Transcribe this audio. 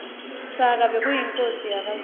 shaka bekuyinkhosi yakazulu